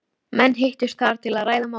Menn hittust þar til að ræða málin.